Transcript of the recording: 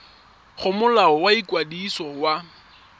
go molao wa ikwadiso wa